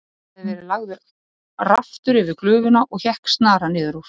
Þar hafði verið lagður raftur yfir glufuna og hékk snara niður úr.